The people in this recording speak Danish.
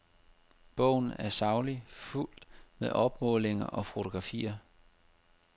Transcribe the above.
Bogen er saglig, fuldt med opmålinger og fotografier.